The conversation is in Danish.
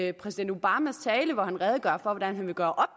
at præsident obama i redegør for hvordan han vil gøre